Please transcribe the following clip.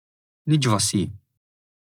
Nič vasi.